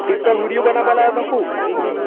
tick talk ના video બનાવા લાયો તો હું